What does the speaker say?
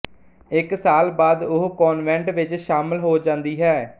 ਇੱਕ ਸਾਲ ਬਾਅਦ ਉਹ ਕਾਨਵੈਂਟ ਵਿੱਚ ਸ਼ਾਮਲ ਹੋ ਜਾਂਦੀ ਹੈ